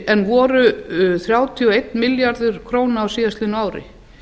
en voru þrjátíu og einn milljarður króna á síðastliðnu ári